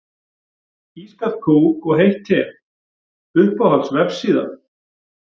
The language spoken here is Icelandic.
Ískalt kók og heitt te Uppáhalds vefsíða?